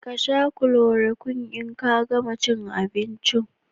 Ka Sha " chloroquine " in ka gama cin abinci